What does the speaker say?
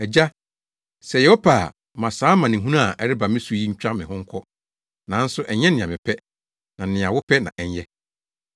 “Agya, sɛ ɛyɛ wo pɛ a, ma saa amanehunu a ɛreba me so yi ntwa me ho nkɔ, nanso ɛnyɛ nea mepɛ, na nea wopɛ na ɛnyɛ”